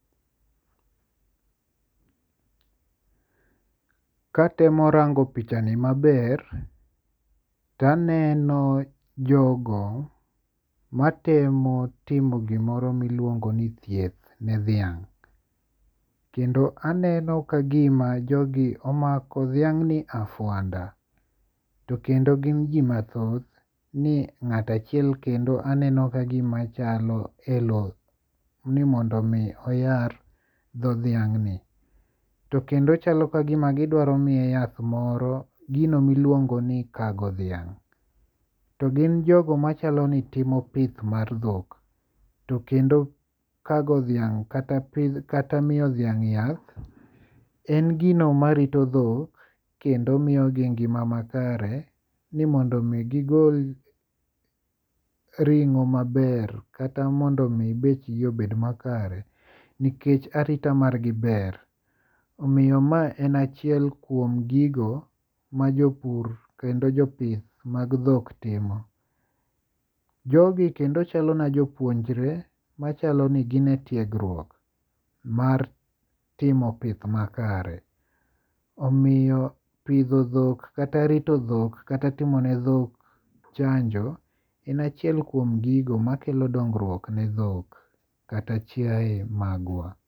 Katemo rango pichani maber, to aneno jogo matemo timo gimoro miluongo ni thieth ne dhiang'. Kendo aneno ka gima jogi omako dhiang'ni afuanda. To kendo gin ji mathoth ni ng'ato achiel kendo aneno ka gima chalo elo ni mondo mi oyar dho dhiang' ni. Tokendo chalo kagima gidwa miye yath moro gino miluongo ni kago dhiang'. To gin jogo machalo ni timo pith mar dhok. To kendo kago dhiang' kata miyo dhiang' yath en gino marito dhok kendo miyo gi ngima makare ni mondo mi gigol ring'o maber kata mondo mi bech gi obed makare nikech arita mar gi ber. Omiyo ma en achiel kuom gigo ma jopur kendo jopith mag dhok timo. Jogi kendo chalo na jopuonjre machalo ni gin e tiegruok mar timo pith makare. Omiyo pidho dhok kata rito dhok kata timo ne dhok chanjo en achiel kuom gigo makelo dongruok ne dhok kata chaiye magwa.